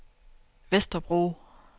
Vesterbro